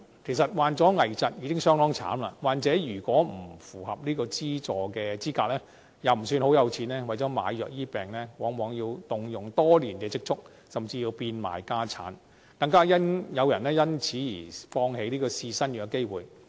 其實，患上危疾已非常可憐，若患者不符合資助資格，又不是太有錢，為了買藥治病，往往要動用多年的積蓄，甚至要變賣家產，更有人因此而放棄試新藥的機會。